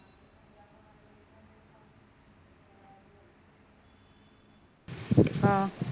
अं